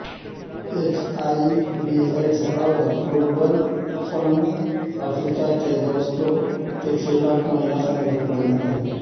HIV AIDS और global fund Africa के दोस्तों के खिलाफ महिलाओं का गठबंधन